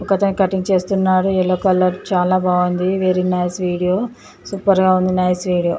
ఒక అతను కటింగ్ చేస్తున్నాడు. ఎల్లో కలర్ చాలా బాగుంది వెరీ నైస్ వీడియో సూపర్ గా ఉంది నైస్ వీడియో .